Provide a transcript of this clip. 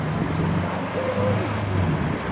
Nossa! Lá não tinha luz, não, na minha casa.